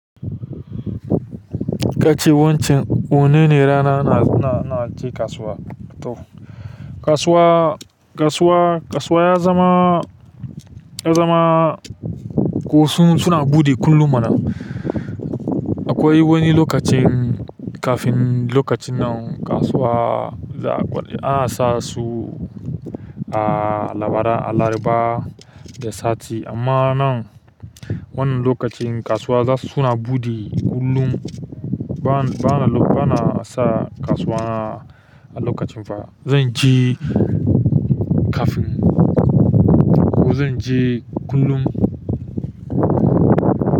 Kace wancan wanene rana na na, naje kasuwa. To kasuwa, kasuwa, kasuwa yazama, ya zama ko suna buɗe kullum mana. Akwai wani lokacin kafin lokacin nan kasuwa za'a, ana sasu a, a laraba da sati amma nan wannan lokacin kasuwa suna buɗe kullum. Bana, banasa kasuwa alokacin fa. Zanje kafin ko zanje kullum.